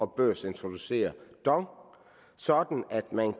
børsintroducere dong sådan at man